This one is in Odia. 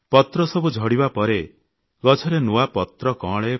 ପତ୍ରସବୁ ଝଡ଼ିବା ପରେ ଗଛରେ ନୂଆ ପତ୍ର କଅଁଳେ